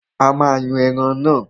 A máa yan ẹran náà.